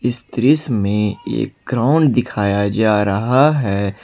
इस दृश्य में एक ग्राउंड दिखाया जा रहा है।